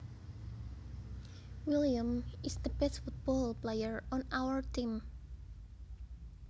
William is the best football player on our team